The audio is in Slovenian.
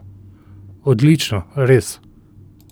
Odlično, res.